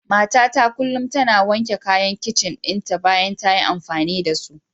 Matata kullum tana wanke kayan kicin dinta bayan ta yi amfani da su.